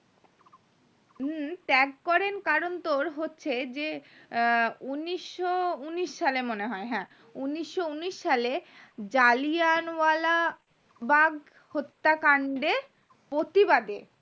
হম ত্যাগ করেন কারণ তোর হচ্ছে যে আহ উন্নিশো উন্নিশ সালে মনে হয় হ্যাঁ উন্নিশো উন্নিশ সালে জালিয়ান ওয়ালাবাগ হত্যাকাণ্ডে প্রতিবাদী